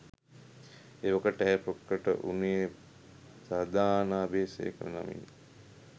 එවකට ඇය ප්‍රකට වුණේ සධානා අබේසේකර නමිනි.